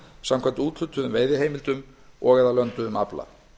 samkvæmt úthlutuðum veiðiheimildum og eða lönduðum afla